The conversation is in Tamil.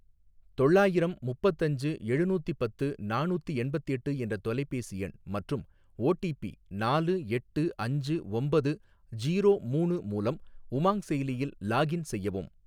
தொள்ளாயிரம் முப்பத்தஞ்சு எழுநூத்தி பத்து நானூத்தி எண்பத்தெட்டு என்ற தொலைபேசி எண் மற்றும் ஓடிபி நாலு எட்டு அஞ்சு ஒம்பது ஜீரோ மூணு மூலம் உமாங் செயலியில் லாகின் செய்யவும்.